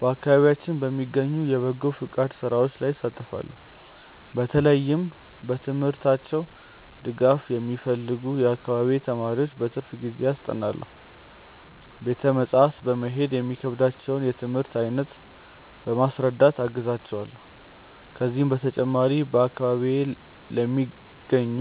በአካባቢያችን በሚገኙ የበጎ ፈቃድ ሥራዎች ላይ እሳተፋለው። በተለይም በትምህርታቸው ድጋፍ የሚፈልጉ የአካባቢዬን ተማሪዎች በትርፍ ጊዜዬ አስጠናለው። ቤተ መጻሕፍት በመሄድ የሚከብዳቸውን የትምህርት አይነት በማስረዳት አግዛቸዋለው። ከዚህም በተጨማሪ፣ በአካባቢዬ ለሚገኙ